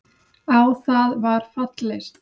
Á það var fallist.